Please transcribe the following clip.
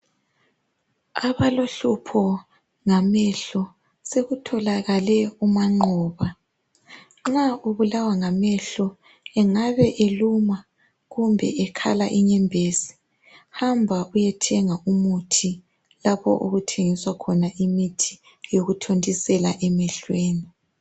Abalohlupho ngamehlo sokutholakale umanqoba . Nxa ubulawa ngamehlo, engabe eluma kumbe ekhala inyembezi hamba uyethenga umuthi lapho okuthengiswa khona imithi yokuthontisela emehlweni.